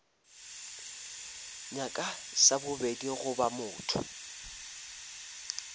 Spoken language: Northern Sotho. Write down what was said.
nyaka sa bobedi goba motho